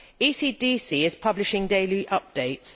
ECDC is publishing daily updates.